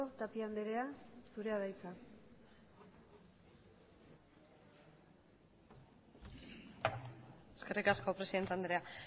tapia andrea zurea da hitza eskerrik asko presidente andrea